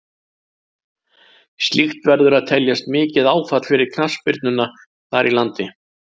Slíkt verður að teljast mikið áfall fyrir knattspyrnuna þar í landi.